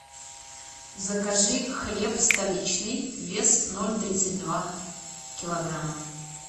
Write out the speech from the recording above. закажи хлеб столичный вес ноль тридцать два килограмма